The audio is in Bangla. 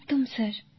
একদম স্যার